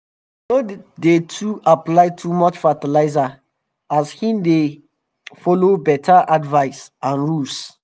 he no dey too apply too much fertilzers as him dey follow beta advice and rules